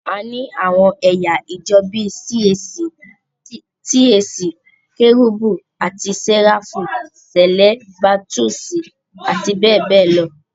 A ní àwọn ẹ̀yà ìjọ bíi CAC, TAC, Kérúbù àti Séráfù, Sẹ̀lẹ́, Baputíìsì àti bẹ́ẹ̀ bẹ́ẹ̀ lọ.